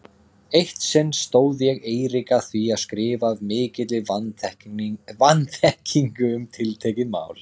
Eitt sinn stóð ég Eirík að því að skrifa af mikilli vanþekkingu um tiltekið mál.